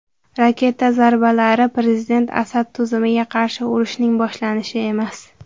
Raketa zarbalari prezident Asad tuzumiga qarshi urushning boshlanishi emas.